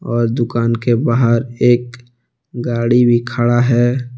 और दुकान के बाहर एक गाड़ी भी खड़ा है।